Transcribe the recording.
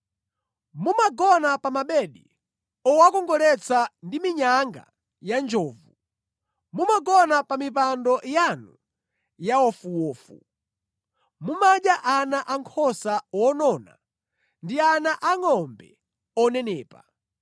Mumagona pa mabedi owakongoletsa ndi minyanga ya njovu, mumagona pa mipando yanu ya wofuwofu. Mumadya ana ankhosa onona ndi ana angʼombe onenepa.